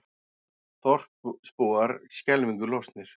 Þorpsbúar skelfingu lostnir